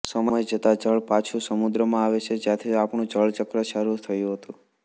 સમય જતાં જળ પાછું સમુદ્રમાં આવે છે જ્યાંથી આપણું જળ ચક્ર શરૂ થયું હતું